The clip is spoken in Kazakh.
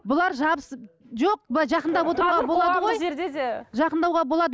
бұлар жабысып жоқ былай жақындап отыруға болады ғой жақындауға болады